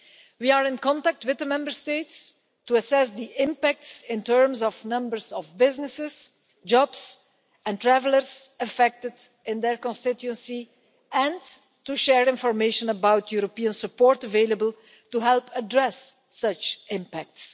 We are in contact with the Member States to assess the impacts in terms of the numbers of businesses, jobs and travellers affected in their constituency, and to share information about the European support available to help address such impacts.